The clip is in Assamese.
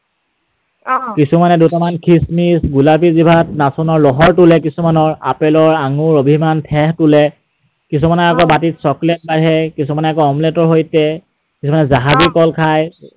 অ, কিছুমানে দুটামান খিচ্‌মিচ, গোলাপী জিভাত নাচোনৰ লহৰ তোলে কিছুমানৰ, আপেলৰ আঙুৰ, অভিমান, থেঁহ তোলে। কিছুমানে আকৌ বাঁতিত chocolate খায়, কিছুমানে আকৌ omelette ৰ সৈতে, কিছুমানে জাহাজী কল খায়